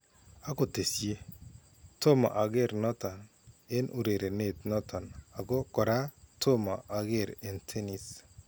Ako kitesyii : Tomo akeer noton en urerenet noton ako koraa tomo akeer en tenis